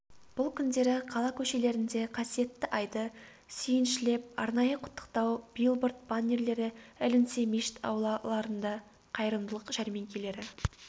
бұл күндері қала көшелерінде қасиетті айды сүйіншілеп арнайы құттықтау билборд баннерлері ілінсе мешіт аулаларында қайырымдылық жәрмеңкелері